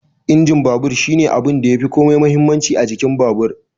Injin babur shine abunda yafi komai muhimmanci a jikin babur